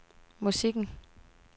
musikken